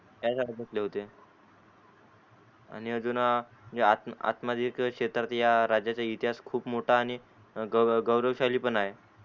त्याच्या वर म्हटले होते आणि अजून आतमध्ये एक या क्षेत्रातचा इतिहास खूप मोठा आणि गौरव गौरवशाली पण आहे.